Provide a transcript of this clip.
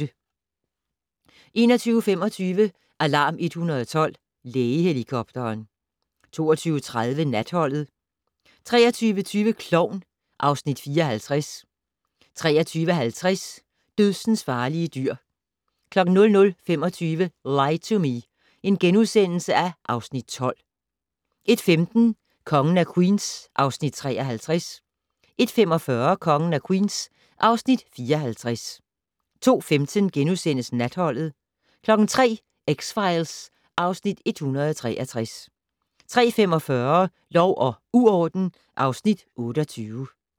21:25: Alarm 112 - Lægehelikopteren 22:30: Natholdet 23:20: Klovn (Afs. 54) 23:50: Dødsensfarlige dyr 00:25: Lie to Me (Afs. 12)* 01:15: Kongen af Queens (Afs. 53) 01:45: Kongen af Queens (Afs. 54) 02:15: Natholdet * 03:00: X-Files (Afs. 163) 03:45: Lov og uorden (Afs. 28)